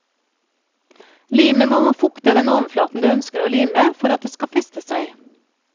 Limet må fukte den overflaten du ønsker å lime for at det skal feste seg.